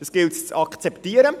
Das gilt es zu akzeptieren.